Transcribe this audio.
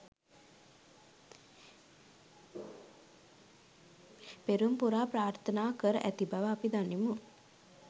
පෙරුම් පුරා ප්‍රාර්ථනා කර ඇති බව අපි දනිමු.